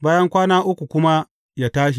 Bayan kwana uku kuma yă tashi.